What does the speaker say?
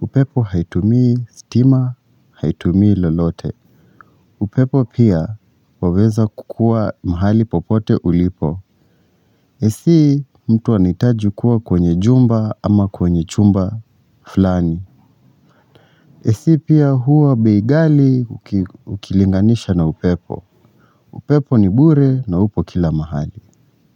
Upepo haitumi stima, haitumi lolote. Upepo pia waweza kukua mahali popote ulipo. AC mtu anihitaji kuwa kwenye jumba ama kwenye chumba fulani. AC pia huwa bei ghali ukilinganisha na upepo. Upepo ni bure na upo kila mahali.